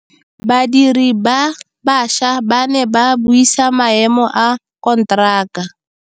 Badiri ba baša ba ne ba buisa maêmô a konteraka.